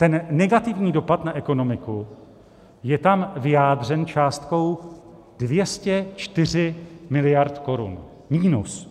Ten negativní dopad na ekonomiku je tam vyjádřen částkou 204 miliard korun minus.